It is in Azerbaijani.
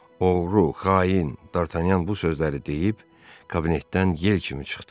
Oğru, xain, D'Artagnan bu sözləri deyib, kabinetdən yel kimi çıxdı.